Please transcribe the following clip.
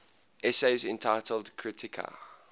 essays entitled kritika